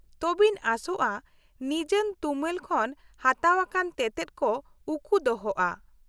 -ᱛᱚᱵᱮᱧ ᱟᱸᱥᱚᱜᱼᱟ ᱱᱤᱡᱟᱱ ᱛᱩᱢᱟᱹᱞ ᱠᱷᱚᱱ ᱦᱟᱛᱟᱣᱟᱠᱟᱱ ᱛᱮᱛᱮᱫ ᱠᱚ ᱩᱠᱩ ᱫᱚᱦᱚᱜᱼᱟ ?